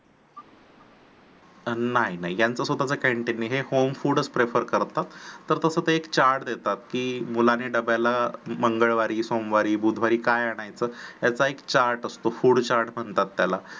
नाही नाही यांचं स्वताच canteen नाही हे home food च prefer करतात. तसं ते एक chart देतात की मुलानी डब्याला मंगळवारी सोमवारी बुधवारी काय आणायचे ह्याचा एक chart असतो. food chart असतो